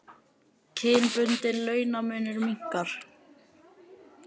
Kynbundinn launamunur minnkar